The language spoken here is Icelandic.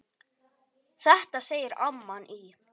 Þetta segir amman í